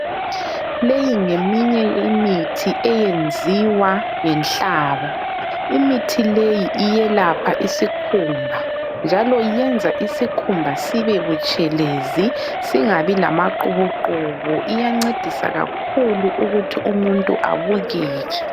Leyi ngeminye imithi eyenziwa ngenhlaba. Imithi leyi iyelapha isikhumba njalo yenza isikhumba sibe butshelezi singabi lamaqubuqubu, iyancedisa kakhulu ukuthi umuntu abukeke.